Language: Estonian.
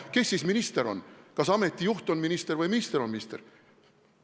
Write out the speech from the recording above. Kes siis minister on: kas ameti juht on minister või minister on minister?